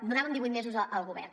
donàvem divuit mesos al govern